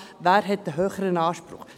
Wer hat einen höheren Anspruch?